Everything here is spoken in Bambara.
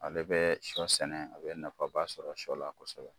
Ale bɛ sɔ sɛnɛ, a bɛ nafaba sɔrɔ sɔ la kosɛbɛ.